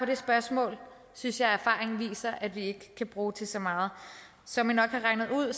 det spørgsmål synes jeg erfaringen viser at vi ikke kan bruge til så meget som i nok har regnet ud